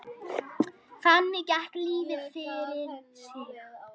Þannig gekk lífið fyrir sig.